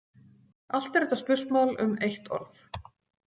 Allt er þetta spursmál um eitt orð.